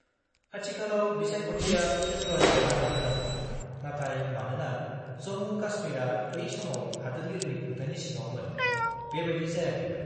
-आथिखालाव बिसायख'थिया फेब्रुवारियाव जानो गोनांमोन, नाथाय मानोना जम्मु-काश्मीरआ बै समाव हादोरगिरिनि खुंथायनि सिङावमोन, बेबादि जायाखैमोन।